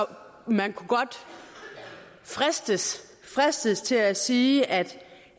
man kunne godt fristes fristes til at sige at